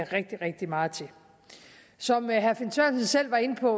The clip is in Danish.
rigtig rigtig meget til som herre finn sørensen selv var inde på